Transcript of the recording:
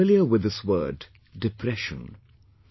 We are familiar with this word, depression